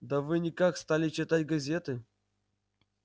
да вы никак стали читать газеты